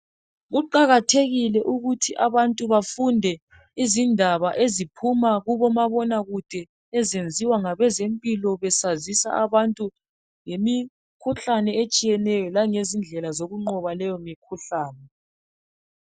Kuqakathekile ukuthi abantu bafunde izindaba eziphuma kubomabonakude ezenziwa ngabezempilo besazisa abantu ngemikhuhlane etshiyeneyo langezindlela zokunqoba leyo mikhuhlane.